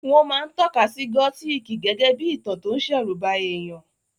Wọ́n máa ń tọ́ka sí gótìkì gégé bí ìtàn tó ń ṣẹ̀rùba èèyàn